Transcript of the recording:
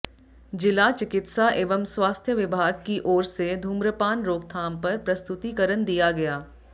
जिला चिकित्सा एवं स्वास्थ्य विभाग की ओर से धूम्रपान रोकथाम पर प्रस्तुतीकरण दिया गया